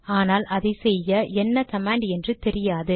ஆனால் அதை செய்ய என்ன கமாண்ட் என்று தெரியாது